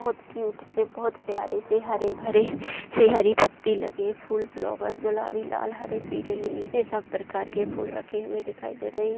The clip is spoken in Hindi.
बहोत क्यूट से बहोत प्यारे से हरे-भरे से हरी पत्ती लगी फूल फ्लावर गुलाबी लाल हरे पीले नीले सब प्रकार के फूल रखे हुए दिखाई दे रही --